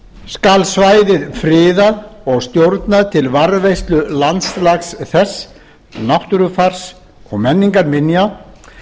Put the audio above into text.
skal svæðið friðað og stjórnað til varðveislu landslags þess náttúrufars og menningarminja